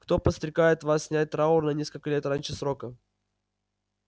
кто подстрекает вас снять траур на несколько лет раньше срока